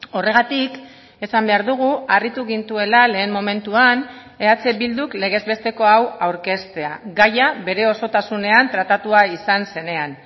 horregatik esan behar dugu harritu gintuela lehen momentuan eh bilduk legez besteko hau aurkeztea gaia bere osotasunean tratatua izan zenean